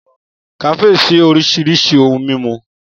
Kafe sin orisirisi ohun mimu.